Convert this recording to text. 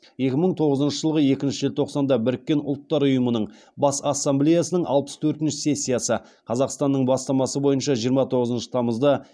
екі мың тоғызыншы жылғы екінші желтоқсанда біріккен ұлттар ұйымының бас ассамблеясының алпыс төртінші сессиясы қазақстанның бастамасы бойынша жиырма тоғызыншы тамызды